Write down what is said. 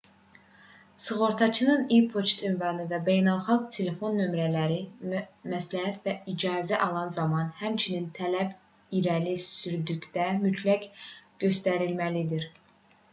sığortaçının e-poçt ünvanı və beynəlxalq telefon nömrələri məsləhət və icazə alan zaman həmçinin tələb irəli sürdükdə mütləq göstərilməlidir